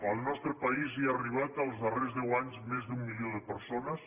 al nostre país hi han arribat els darrers deu anys més d’un milió de persones